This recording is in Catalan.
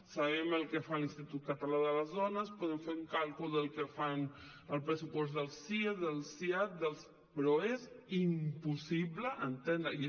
sabem el que fa l’institut català de les dones podem fer un càlcul del que fan el pressupost del sie del siad però és impossible entendre ho